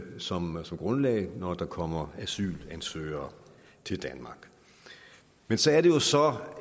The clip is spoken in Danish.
som som grundlag når der kommer asylansøgere til danmark men så er det jo så